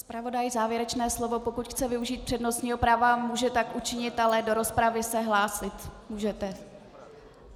Zpravodaj - závěrečné slovo - pokud chce využít přednostního práva, může tak učinit, ale do rozpravy se hlásit můžete.